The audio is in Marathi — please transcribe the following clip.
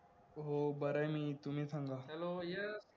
हो बराय मी तुम्ही सांगा